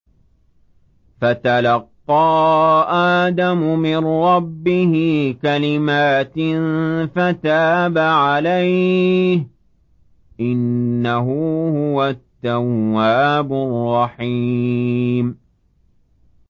فَتَلَقَّىٰ آدَمُ مِن رَّبِّهِ كَلِمَاتٍ فَتَابَ عَلَيْهِ ۚ إِنَّهُ هُوَ التَّوَّابُ الرَّحِيمُ